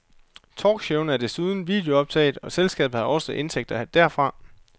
Talkshowene er desuden videooptaget og selskabet har også indtægter derfra.